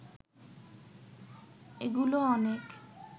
এগুলো অনেক